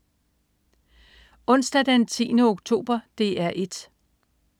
Onsdag den 10. oktober - DR 1: